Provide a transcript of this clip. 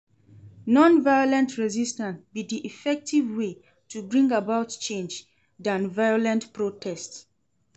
Non-violent resistance be di effective way to bring about change than violent protest.